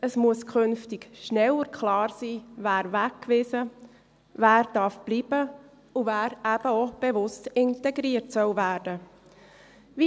Es muss künftig schneller klar sein, wer weggewiesen wird, wer bleiben darf, und wer bewusst integriert werden soll.